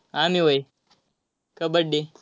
आम्ही व्हय? कबड्डी.